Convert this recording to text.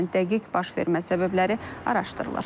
Hadisənin dəqiq baş vermə səbəbləri araşdırılır.